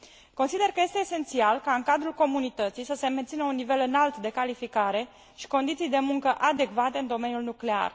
Consider că este esențial ca în cadrul Comunității să se mențină un nivel înalt de calificare și condiții de muncă adecvate în domeniul nuclear.